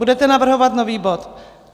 Budete navrhovat nový bod.